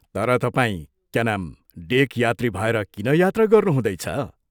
तर तपाई क्या नाम डेक यात्री भएर किन यात्रा गर्नुहुँदैछ?